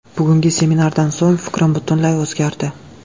Bugungi seminardan so‘ng fikrim butunlay o‘zgardi.